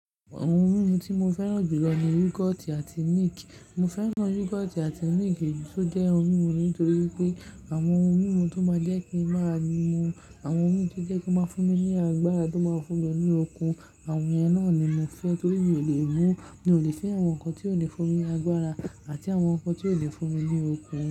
Àwọn ohun mímu tí mo fẹ́ràn jùlọ ni yoghurt àti milk. Mo fẹ́ràn yoghurt àti milk tó jẹ́ ohun mímu nítorí pé àwọn ohun mímu tó máa jẹ́ kí ń máa mu, àwọn ohun tí ó jẹ́ kó máa fún mi ní agbára tó máa fún mi ní okun, àwọn èyí náà ni mo fẹ́ torí mi ò lè mú, mi ò lè fẹ àwọn nǹkan tí ò lè fún mi agbára àti àwọn nǹkan tí ò lè fún mi ní okun.